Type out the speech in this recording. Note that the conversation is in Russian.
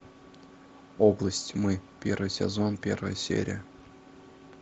область тьмы первый сезон первая серия